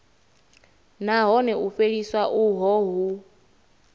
nahone u fheliswa uho hu